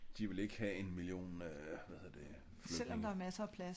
De vil ikke have en million øh hvad hedder det flygtninge